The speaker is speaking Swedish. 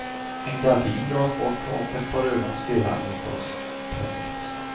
En gardin dras bort och ett par ögon stirrar mot oss. punkt